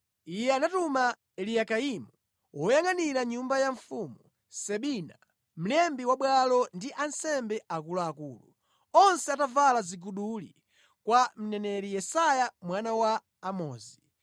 Iye anatuma Eliyakimu, woyangʼanira nyumba ya mfumu, Sebina mlembi wa bwalo ndi ansembe akuluakulu, onse atavala ziguduli, kwa mneneri Yesaya mwana wa Amozi.